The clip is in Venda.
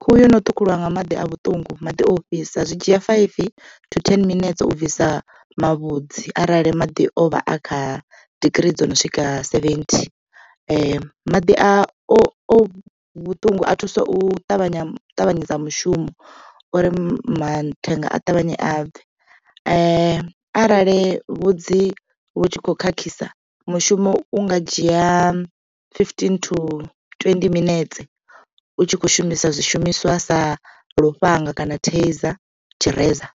Khuhu yono ṱhukhuliwa nga maḓi a vhuṱungu maḓi ofhisa zwi dzhia faifi to ten minetse u bvisa mavhudzi arali maḓi o vha a kha digirii dzo no swika seventy. Maḓi a o vhuṱungu a thusa u ṱavhanya ṱavhanyedza mushumo uri mathenga a ṱavhanye a bve arali vhudzi vhu tshi kho khakhisa mushumo u nga dzhia fifteen to twendi minetse u tshi kho shumisa zwishumiswa sa lufhanga kana taizer tshireza.